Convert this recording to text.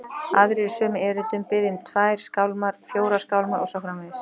Aðrir í sömu erindum biðja um tvær skálmar, fjórar skálmar og svo framvegis.